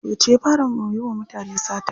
Yauce ya fara yiwa mutane sata?